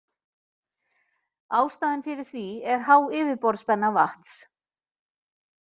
Ástæðan fyrir því er há yfirborðsspenna vatns.